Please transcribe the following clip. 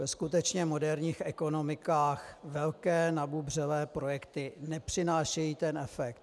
Ve skutečně moderních ekonomikách velké nabubřelé projekty nepřinášejí ten efekt.